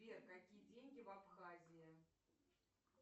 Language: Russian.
сбер какие деньги в абхазии